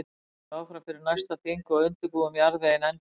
Svo höldum við áfram fyrir næsta þing og undirbúum jarðveginn enn betur.